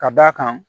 Ka d'a kan